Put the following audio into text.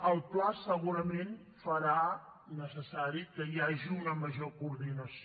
el pla segurament farà necessari que hi hagi una major coordinació